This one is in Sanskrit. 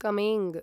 कमेङ्ग्